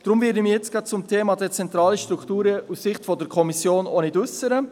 Deshalb werde ich mich jetzt auch nicht zum Thema «dezentrale Strukturen» aus Sicht der Kommission äussern.